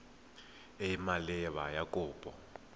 e e maleba ya kopo